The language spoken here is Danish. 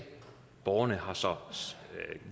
borgerne har så